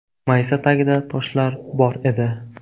Maysa tagida toshlar bor edi.